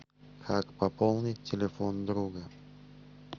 как пополнить телефон друга